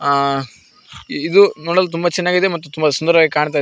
ಆ ಇದು ನೋಡಲು ತುಂಬ ಚೆನ್ನಾಗಿದೆ ಮತ್ತು ತುಂಬ ಸುಂದರವಾಗಿ ಕಾಣ್ತಾ ಇದೆ.